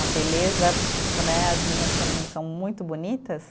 A beleza né, as meninas que não são muito bonitas.